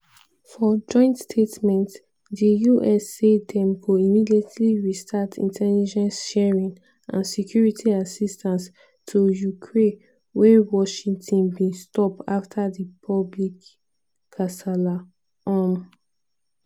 for joint statement di us say dem go immediately restart intelligence sharing and security assistance to ukraie wey washington bin stop afta di public kasala um